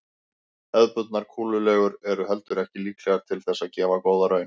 Hefðbundnar kúlulegur eru heldur ekki líklegar til þess að gefa góða raun.